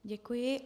Děkuji.